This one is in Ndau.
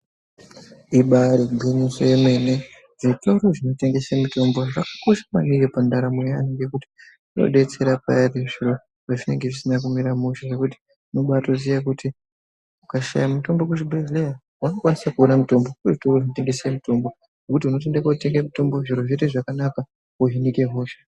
Ibari gwinyiso remene zvitoro zvinotengese mitombo zvakakosha maningi pandaramo yevantu ngekuti inodetsera payani zviro pazvinenge zvisina kumira mushe nekuti unoba yitoziva kuti ukashaya mitombo kuzvibhedhlera unokwanise kuona mitombo kuzvitoro zvinotengeswe mitombo wotouenda kun kotenga mutimbo zviro z otoite zvakanaka wotohinika hosha.